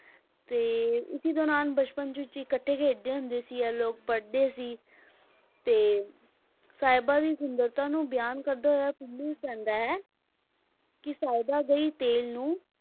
ਤੇ ਇਸੇ ਦੌਰਾਨ ਬਚਪਨ ਵਿੱਚ ਇਕਠੇ ਖੇਡਦੇ ਹੁੰਦੇ ਸੀ ਇਹ ਲੋਕ ਪੜ੍ਹਦੇ ਸੀ, ਤੇ ਸਾਹਿਬਾਂ ਦੀ ਸੁੰਦਰਤਾ ਨੂੰ ਬਿਆਨ ਕਰਦਾ ਹੋਇਆ ਪੀਲੂ ਕਹਿੰਦਾ ਹੈ ਕਿ ਸਾਹਿਬਾ ਗਈ ਤੇੇਲ ਨੂੰ,